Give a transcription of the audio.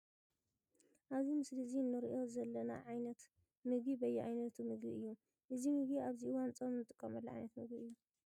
ኣብዘ ምስሊ እዚ እንሪኦ ዘና ዓይነት ምግቢ በየ ዓይነቱ ምግቢ እዩ። እዚ ምግቢ እዚ ኣብ እዋን ፆም እንጥቀመሉ ዓይነት ምግቢ እዩ።